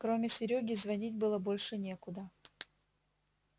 кроме серёги звонить было больше некуда